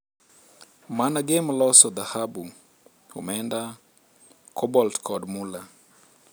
MANAGEM loso dhahabu, omenda, cobalt kod mula